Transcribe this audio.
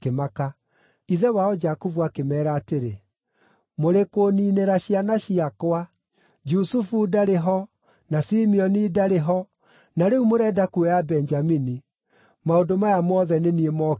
Ithe wao Jakubu akĩmeera atĩrĩ, “Mũrĩ kũũniinĩra ciana ciakwa. Jusufu ndarĩ ho, na Simeoni ndarĩ ho, na rĩu mũrenda kuoya Benjamini. Maũndũ maya mothe nĩ niĩ mokĩrĩire!”